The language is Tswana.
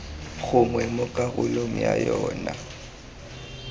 gongwe mo karolong ya yona